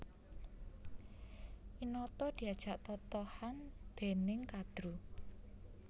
Winata diajak totohan dèning Kadru